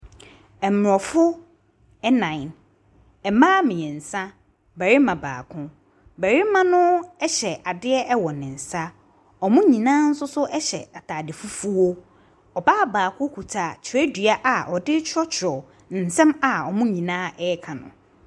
Aborɔfo nnan, mmaa mmiɛnsa, barima baako. Barima no hyɛ adeɛ wɔ ne nsa, wɔn nyinaa nso hyɛ ataade fufuo. Ɔbaa baako kita twerɛdua a ɔde retwerɛtwerɛ ne nsɛm a wɔn nyinaa ɛreka no.